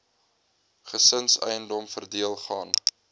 gesinseiendom verdeel gaan